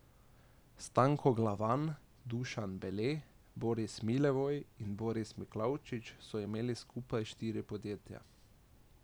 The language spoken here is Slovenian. Stanko Glavan, Dušan Bele, Boris Milevoj in Boris Miklavčič so imeli skupaj štiri podjetja.